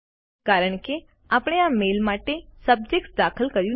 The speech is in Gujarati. કારણ કે આપણે આ મેઇલ માટે સબ્જેક્ટ દાખલ કર્યું નથી